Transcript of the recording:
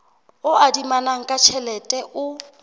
o adimanang ka tjhelete o